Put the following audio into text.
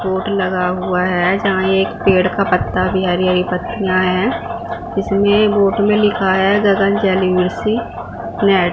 board लगा हुआ है जहां एक पेड़ का पत्ता भी हरी हरी पत्तियां है इसमें बोर्ड में लिखा है गगन जलेसी फ्लैट --